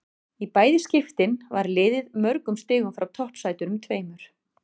Í bæði skiptin var liðið mörgum stigum frá toppsætunum tveimur.